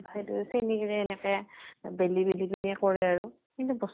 সেইটোয়ে চেনী তেনী এনেকে বেলি বেলি পিনে কৰা আৰু। কিন্তু বস্তু টো